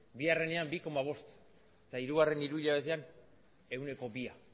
bigarrenean bi koma bost eta hirugarren hiruhilabetean ehuneko bia